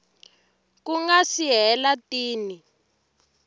ku nga si hela tin